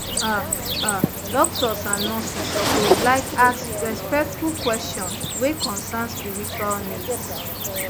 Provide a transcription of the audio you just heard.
ah ah doctors and nurses suppose laik ask respectful kweshion wey concern spiritual needs